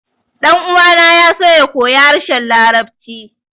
Ɗan uwana ya so ya koyi harshen larabci